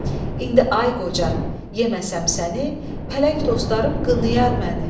İndi ay qoca, yeməsəm səni, pələng dostlarım qınayar məni.